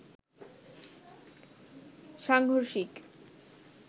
সাংঘর্ষিক